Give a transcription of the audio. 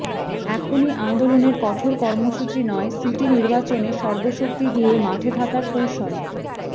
এখনই আন্দোলনের কঠোর কর্মসূচি নয় সিটি নির্বাচনে সর্বশক্তি দিয়ে মাঠে থাকার কৌশল